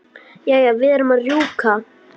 Jæja, verð að rjúka.